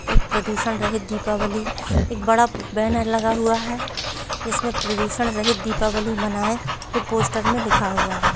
एक प्रदूषण रहित दीपावली एक बड़ा पो बेनर लगा हुआ है जिसमे प्रदूषण रहित दीपावली मनाये ये पोस्टर मे लिखा हुआ है।